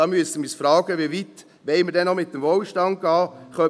Da müssen wir uns fragen, wie weit wir denn mit dem Wohlstand noch gehen wollen.